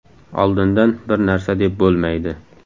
Oldindan bir narsa deb bo‘lmaydi.